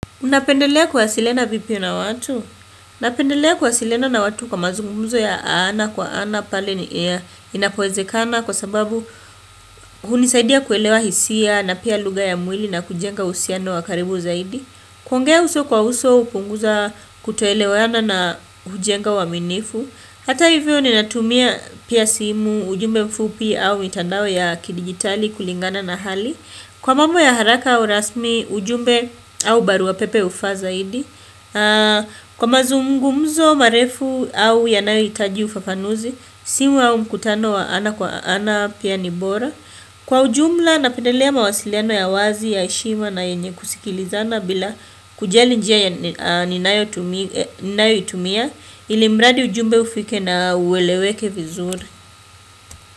Unapendelea kuhasiliana vipi na watu? Unapendelea kuhasiliana na watu kwa mazungumuzo ya ana kwa ana pale ni ea inapowezekana kwa sababu hunisaidia kuelewa hisia na pia luga ya mwili na kujenga usiano wakaribu zaidi. Kwongea uso kwa uso upunguza kutoelewana na kujenga waminifu. Hata hivyo ninatumia pia simu ujumbe mfupi au mitandawe ya kidigitali kulingana na hali. Kwa mambo ya haraka au rasmi ujumbe au baruwa pepe ufa zahidi. Kwa mazungumzo marefu au yanayo itaji ufafanuzi, simu au mkutano wa ana kwa ana pia nibora. Kwa ujumla napendelea mawasiliano ya wazi, ya eshima na yenye kusikilizana bila kujali njia ya ninayoitumia, ilimradi ujumbe ufike na uweleweke vizuri.